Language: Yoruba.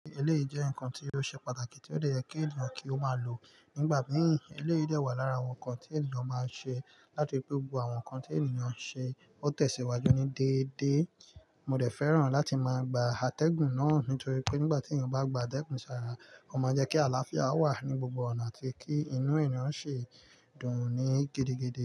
Eléyìí jẹ́ ǹkan tí ó ṣe pàtàkì tí ó dè yẹ kí ènìyàn kí ó máa lò nígbà míì. Eléyìí dẹ́ wa lára àwọn nǹkan tí ènìyàn máa ń ṣe láti fi gbo àwọn ǹkan tí ènìyàn ń ṣe ó tẹ̀síwájú ní déédé. Mo dè fẹ́ràn láti máa gba atẹ́gùn náà nítorí pé nígbà tí ènìyàn bá gba atẹ́gùn ṣàrà, ó máa ń jẹ́ kí àlàáfíà wà ní gbogbo ọ̀nà àti kí inú ènìyàn ṣe dùn ún ní gidigidi.